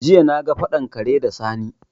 Jiya na ga faɗan kare da Sani